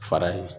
Fara in